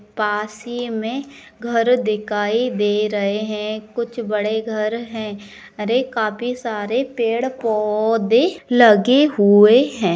पास ही में घर दिकाई दे रहे हैं कुछ बड़े घर हैं अरे काफी सारे पेड़ पौधे लगे हुए हैं।